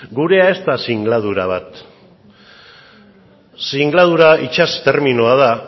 gurea ez da singladura bat singladura itsas terminoa da